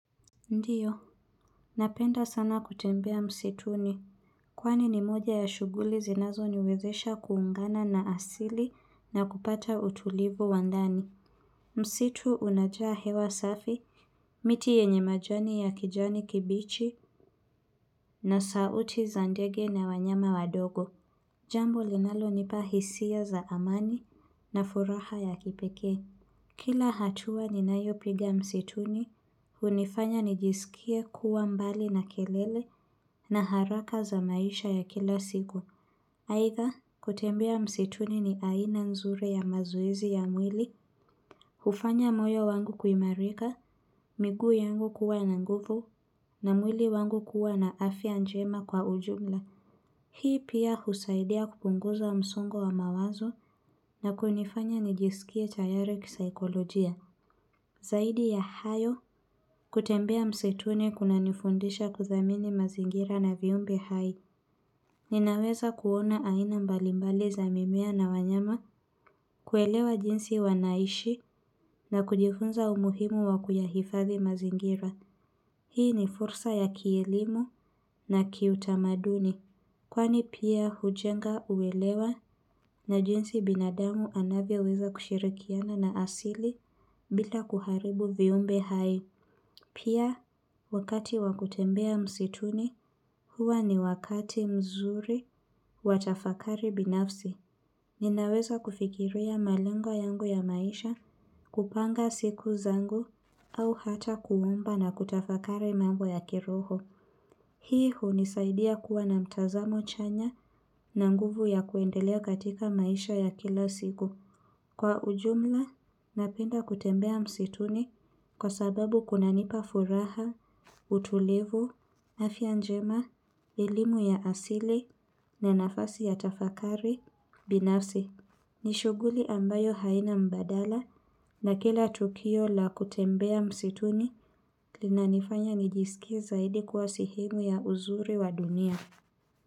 Ndiyo, napenda sana kutembea msituni. Kwani ni moja ya shughuli zinazo niwezesha kuungana na asili na kupata utulivu wandani. Msitu unajaa hewa safi, miti yenye majani ya kijani kibichi na sauti za ndege na wanyama wadogo. Jambo linalo nipa hisia za amani na furaha ya kipekee. Kila hatua ni nayo piga msituni, hunifanya nijisikie kuwa mbali na kelele na haraka za maisha ya kila siku. Aidha, kutembea msituni ni aina nzuri ya mazoezi ya mwili. Hufanya moyo wangu kuimarika, miguu yangu kuwa na nguvu, na mwili wangu kuwa na afya njema kwa ujumla. Hii pia husaidia kupunguza msungo wa mawazo na kunifanya nijisikie tayari kisikolojia. Zaidi ya hayo kutembea msituni kuna nifundisha kuthamini mazingira na viumbe hai. Ninaweza kuona aina mbalimbali za mimea na wanyama kuelewa jinsi wanaishi na kujifunza umuhimu wakuyahifadihi mazingira. Hii ni fursa ya kielimu na kiutamaduni. Kwani pia hujenga, huelewa na jinsi binadamu anavyoweza kushirikiana na asili bila kuharibu viumbe hai. Pia wakati wakutembea msituni, huwa ni wakati mzuri watafakari binafsi. Ninaweza kufikiria malengo yangu ya maisha kupanga siku zangu au hata kuomba na kutafakari mambo ya kiroho. Hii hunisaidia kuwa na mtazamo chanya na nguvu ya kuendelea katika maisha ya kila siku. Kwa ujumla, napenda kutembea msituni kwa sababu kuna nipa furaha, utulivu, afya njema, elimu ya asili, na nafasi ya tafakari, binafsi. Nishuguli ambayo haina mbadala na kila tukio la kutembea msituni linanifanya nijisikie zaidi kuwa sehemu ya uzuri wa dunia.